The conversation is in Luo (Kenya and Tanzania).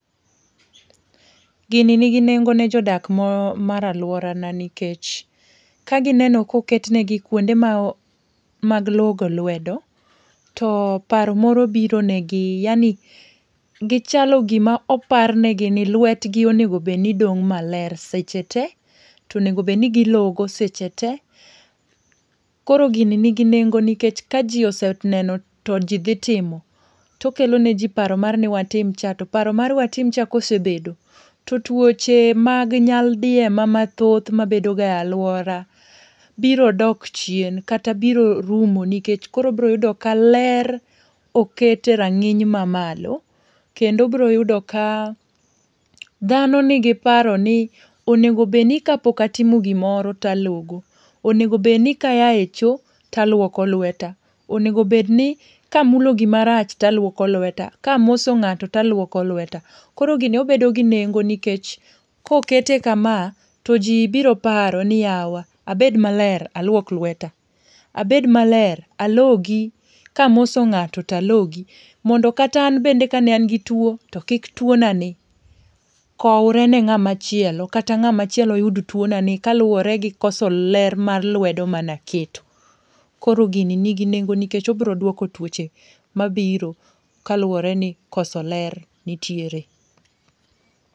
Gini ni gi nengo ne jodak mo mar luora na nikech ka gi neno ka oket ne gi kuonde ma mag logo lwedo to paro moro biro ne gi yaani gi chalo gi ma oparne gi ni lwet gi onego bedni dong ma ler seche te, onego bed ni gi logo seche te. Koro gini ni gi nengo nikech ka ji oseneno to ji dhi timo. To okelo ne ji paro mar watim cha, to paro mar watim cha ka osebedo to twoche mag nyaldiema ma thoth ma bedo ga e lauora biro dok chien, kata biro rumo nikech koro obiro yudo ka ler oket e rang'iny ma malo. Kendo obiro yudo ka dhano ni gi paro ni onego bed ni ka pok atimo gi moro to alogo, onego bed ni ka aa e choo to alwoko lweta, onego bed ni ka amulo gi marach to alwoko lweta, ka amoso ng'ato to alwoko lweta, koro gini obedo gi nengo nikech ka okete kama to ji biro paro ni yawa abed maler alwok lweta, abed ma ler alogi, ka amoso ng'ato to alogi. Mondo kata an bende ka ne an gi two to kik twona ni kowre ne ng'a machielo kata ng'a machielo kik yud twona ni kaluore gi koso ler mar lwedo ma ne aketo. Koro gini ni gi nengo nikech obiro dwoko twoche ma biro kaluore ni koso ler nitiere.